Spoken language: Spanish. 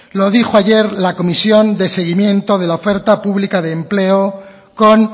lo dijo ayer la comisión de seguimiento de la oferta pública de empleo con